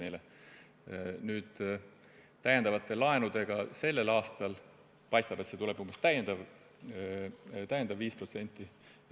Arvestades täiendavaid laene, mis sel aastal võetakse, paistab, et lisandub veel umbes –5%.